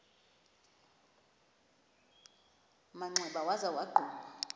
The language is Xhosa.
manxeba waza wagquma